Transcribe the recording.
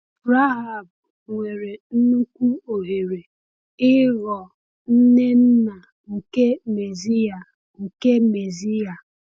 Rahab nwere nnukwu ohere ịghọọ nne nna nke Mesiya. nke Mesiya.